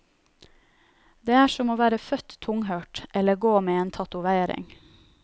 Det er som å være født tunghørt, eller gå med en tatovering.